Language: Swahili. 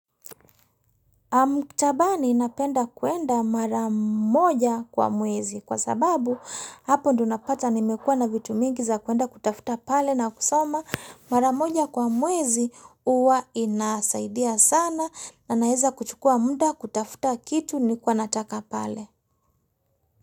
Maktabani napenda kuenda maramoja kwa mwezi kwa sababu hapo ndio napata nimekua na vitu mingi za kuenda kutafuta pale na kusoma mara moja kwa mwezi huwa inasaidia sana na naeza kuchukua muda kutafuta kitu nilikuwa nataka pale.